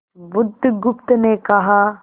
बुधगुप्त ने कहा